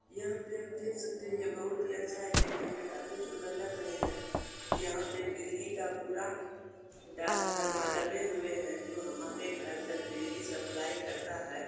यहां पे हम देख सकते हैये बहुत ही अच्छा है देखने में काफी सुंदर लग रहे हैं। यहां पे बिजली का पूरा ट्रांसफार्मर लगे हुए है जो हमारे घर तक बिजली सप्लाई करता है।